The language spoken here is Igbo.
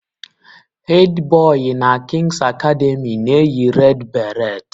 Hedi Boi na kings academy na-eyi red baret